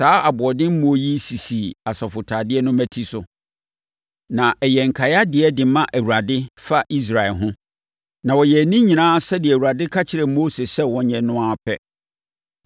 Saa aboɔdemmoɔ yi sisi asɔfotadeɛ no mmati so, na ɛyɛ nkaedeɛ de ma Awurade fa Israelfoɔ ho, na wɔyɛɛ ne nyinaa sɛdeɛ Awurade ka kyerɛɛ Mose sɛ wɔnyɛ no no ara pɛ.